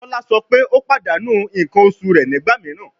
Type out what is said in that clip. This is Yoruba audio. Tola sọ pe o padanu nkan oṣu rẹ nigba miiran